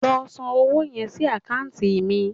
Lọ san owó yẹn sí àkáǹtì mi